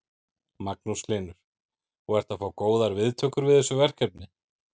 Magnús Hlynur: Og ertu að fá góðar viðtökur við þessu verkefni?